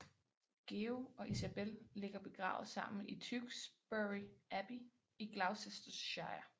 Georg og Isabel ligger begravet sammen i Tewkesbury Abbey i Gloucestershire